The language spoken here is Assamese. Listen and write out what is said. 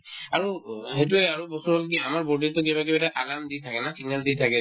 আৰু অ সেইটোয়ে আৰু বস্তুতো হ'ল কি আমাৰ body তো কিবা কিবা এটা আগান দি থাকে না signal দি থাকে